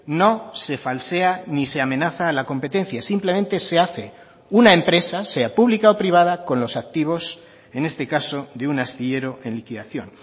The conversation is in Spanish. no se falsea ni se amenaza a la competencia simplemente se hace una empresa sea pública o privada con los activos en este caso de un astillero en liquidación